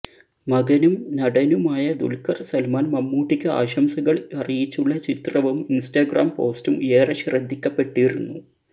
മകനും നടനുമായ ദുൽഖർ സൽമാൻ മമ്മൂട്ടിക്ക് ആശംസകൾ അറിയിച്ചുള്ള ചിത്രവും ഇൻസ്റ്റഗ്രാം പോസ്റ്റും ഏറെ ശ്രദ്ധിക്കപ്പെട്ടിരുന്നു